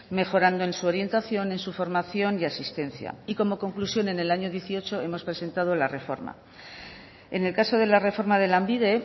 mejorando en su orientación en su formación y asistencia y como conclusión en el año dieciocho hemos presentado la reforma en el caso de la reforma de lanbide